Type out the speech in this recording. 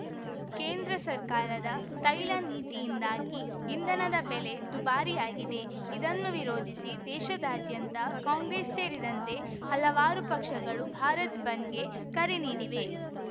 ಕೇಂದ್ರ ಸರ್ಕಾರದ ತೈಲ ನೀತಿಯಿಂದಾಗಿ ಇಂಧನದ ಬೆಲೆ ದುಬಾರಿಯಾಗಿದೆ ಇದನ್ನು ವಿರೋಧಿಸಿ ದೇಶಾದ್ಯಂತ ಕಾಂಗ್ರೆಸ್‌ ಸೇರಿದಂತೆ ಹಲವಾರು ಪಕ್ಷಗಳು ಭಾರತ್‌ ಬಂದ್‌ಗೆ ಕರೆ ನೀಡಿವೆ